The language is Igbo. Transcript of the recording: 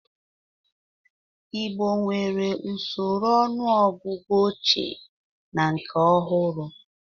Igbo nwere usoro ọnụọgụgụ ochie na nke ọhụrụ.